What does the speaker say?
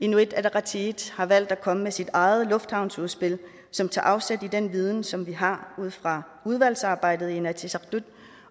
inuit ataqatigiit har valgt at komme med sit eget lufthavnsudspil som tager afsæt i den viden som vi har fra udvalgsarbejdet i inatsisartut